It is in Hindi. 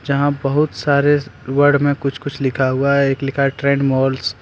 जहां बहुत सारे वर्ड में कुछ कुछ लिखा हुआ है एक लिखा है ट्रेंड मॉल्स ।